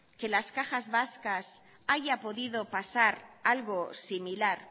que en las cajas vascas haya podido pasar algo similar